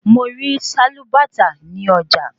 Mo rí sálúbàtà ní ọjà